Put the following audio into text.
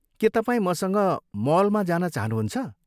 के तपाईँ मसँग मलमा जान चाहनुहुन्छ?